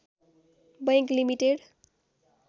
bank limited